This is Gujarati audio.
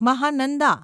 મહાનંદા